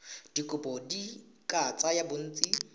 dikopo di ka tsaya bontsi